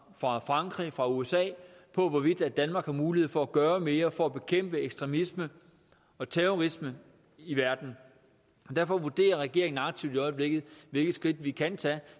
fra frankrig og fra usa om hvorvidt danmark har mulighed for at gøre mere for at bekæmpe ekstremisme og terrorisme i verden og derfor vurderer regeringen aktivt i øjeblikket hvilke skridt vi kan tage